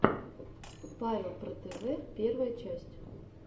павел про тв первая часть